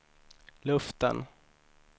luften